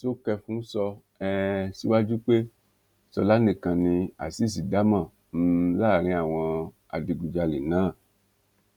sókèfùn sọ um síwájú pé ṣọlá nìkan ni azeez dá mọ um láàrin àwọn adigunjalè náà